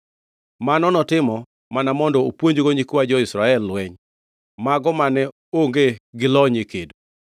Mano notimo mana mondo opuonjgo nyikwa jo-Israel lweny, mago mane onge gi lony e kedo.